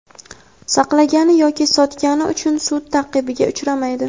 saqlagani yoki sotgani uchun sud ta’qibiga uchramaydi.